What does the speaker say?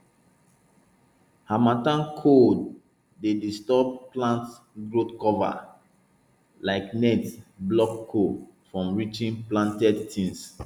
harmattan cold dey disturb plant growthcover like net block cold from reaching planted things